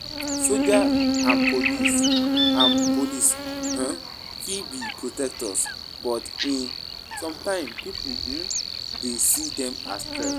Soldiers and police and police um fit be protectors, but um sometimes pipo um dey see dem as threats.